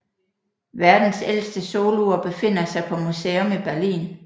Verdens ældste solur befinder sig på museum i Berlin